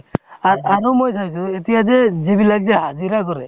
আৰ্~ আৰু মই চাইছো এতিয়া যে যিবিলাক যে হাজিৰা কৰে